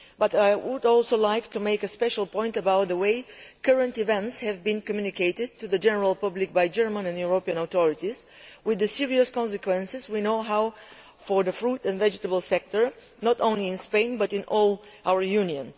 However, I would also like to make a special point about the way current events have been communicated to the general public by German and European authorities, with the serious consequences we know for the fruit and vegetable sector, not only in Spain, but in all our Union.